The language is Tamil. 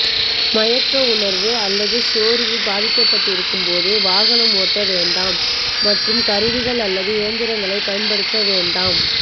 மயக்க உணர்வு அல்லது சோர்வு பாதிக்கப்பட்டிருக்கும் போது வாகனம் ஓட்ட வேண்டாம் மற்றும் கருவிகள் அல்லது இயந்திரங்களை பயன்படுத்த வேண்டாம்